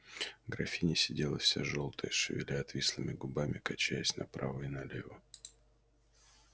графиня сидела вся жёлтая шевеля отвислыми губами качаясь направо и налево